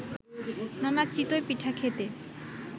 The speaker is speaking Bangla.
নানা চিতই পিঠা খেতে